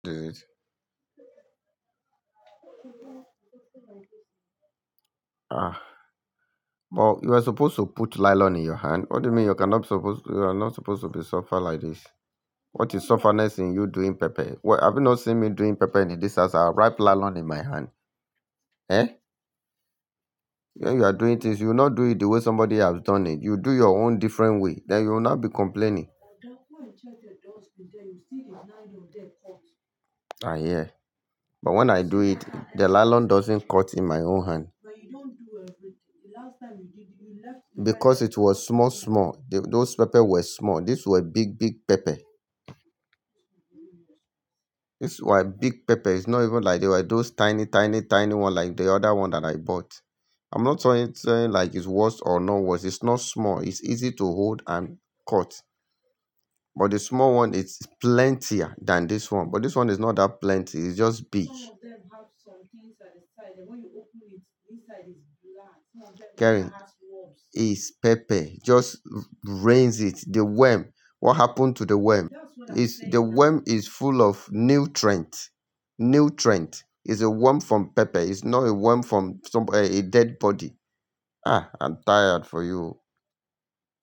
Aa but you're supposed to put nylon in your hand, what do you mean you are not supposed to be suffer like this What is suffer-ness in you doing pepper? Well, have you not seen me doing pepper in this house? I have wrap nylon in my hand. Eh? When you are doing things, you will not do it the way somebody has done it. You do your own different way, then you will not be complaining. But that one, check the dustbin there, you'll see the nylon there cut. Ah, yeah. But when I do it, the nylon doesn't cut in my own hand. But you dont do everything, the last time you did it because it was small small those pepper were small these were big big pepper this one big pepp It's not even like they were those tiny, tiny, tiny one like the other one that I bought. I'm not saying, saying like it's worse or not worse. It's not small. It's easy to hold and cut. But the small one is plentier than this one. But this one is not that plenty, it's just big. Some of them have some things at the side, and when you open it, inside is black. Some of them have worms. Karen, it's pepper. Just rinse it. The worm, what happened to the worm? That's what I'm saying. It's, the worm is full of nutrient. Nutrient. It's a worm from pepper. It's not a worm from some A, a dead body. Ah, I'm tired for you.